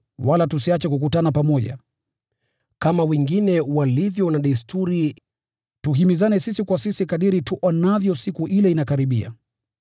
Wala tusiache kukutana pamoja, kama wengine walivyo na desturi, bali tuhimizane sisi kwa sisi kadiri tuonavyo Siku ile inakaribia.